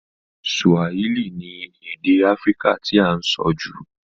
Swahili ni èdè Africa ti a n so jù